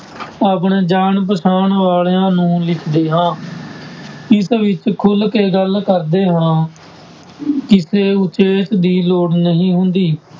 ਆਪਣੇ ਜਾਣ ਪਛਾਣ ਵਾਲਿਆਂ ਨੂੰ ਲਿਖਦੇ ਹਾਂ ਇਸ ਵਿੱਚ ਖੁੱਲ ਕੇ ਗੱਲ ਕਰਦੇ ਹਾਂ ਕਿਸੇ ਉਚੇਚ ਦੀ ਲੋੜ ਨਹੀਂ ਹੁੰਦੀ।